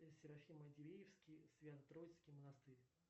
серафимо дивеевский свято троицкий монастырь